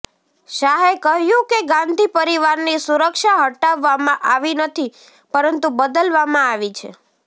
શાહે કહ્યું કે ગાંધી પરિવારની સુરક્ષા હટાવવામાં આવી નથી પરંતુ બદલવામાં આવી છે